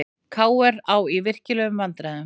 KR á í virkilegum vandræðum